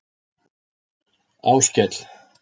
Áskell